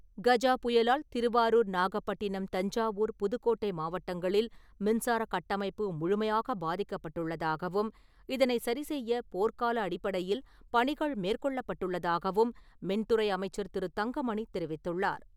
கஜா புயலால் திருவாரூர், நாகப்பட்டினம், தஞ்சாவூர், புதுக்கோட்டை மாவட்டங்களில் மின்சார கட்டமைப்பு முழுமையாக பாதிக்கப்பட்டுள்ளதாகவும், இதனை சரிசெய்ய போர்க்கால அடிப்படையில் பணிகள் மேற்கொள்ளப்பட்டுள்ளதாகவும், மின்துறை அமைச்சர் திரு. தங்கமணி தெரிவித்துள்ளார்.